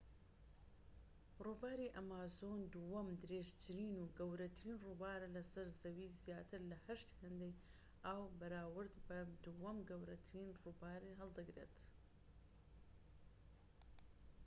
ڕووباری ئەمازۆن دووەم درێژترین و گەورەترین ڕووبارە لە سەر زەوی زیاتر لە 8 هێندەی ئاو بەراورد بە دووەم گەورەترین ڕووبار هەڵدەگرێت